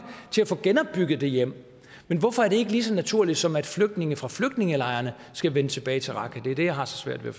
til at få genopbygget det hjem men hvorfor er det ikke lige så naturligt som at flygtninge fra flygtningelejrene skal vende tilbage til raqqa det er det jeg har så svært ved